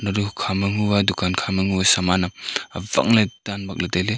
hukha ma hu a dukan kha ma hu ang saman awak le dan bakle taile.